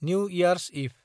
new year's इभ